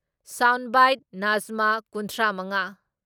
sound bite ꯅꯥꯖꯃꯥ ꯀꯨꯟꯊ꯭ꯔꯥ ꯃꯉꯥ